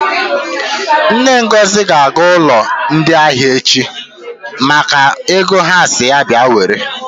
Nne Ngozi ga-aga ụlọ ndị ahịa echi maka ego ha sịrị ya bịa were.